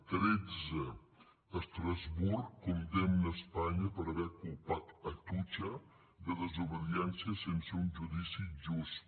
tretze estrasburg condemna espanya per haver culpat atutxa de desobediència sense un judici just